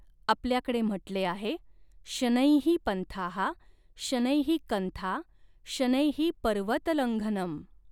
आपल्याकडे म्हटले आहे शनैः पन्थाः शनैः कन्था शनैः पर्वतलंघनम।